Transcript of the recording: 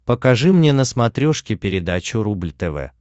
покажи мне на смотрешке передачу рубль тв